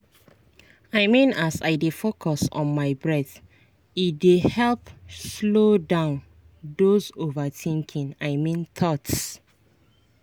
i mean as i dey focus on my breath e dey help slow down those overthinking i mean thoughts.